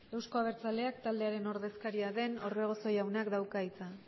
euzko abertzaleak taldearen ordezkaria den orbegozo jaunak dauka hitz